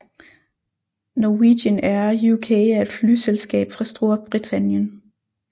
Norwegian Air UK er et flyselskab fra Storbritannien